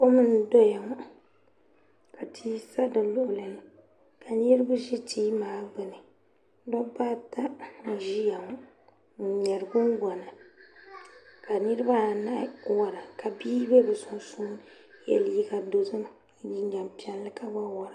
Kom n do ya ŋɔ ka tii sa di luɣuli ni ka niribi ʒe teebuli gbuni dabbaata n ʒiya ŋɔ n ŋmeri gungona ka niribaanahi wara ka bii biɛ bɛ sunsuuni ye liiga dozim ni jinjam piɛlli ka gba wara.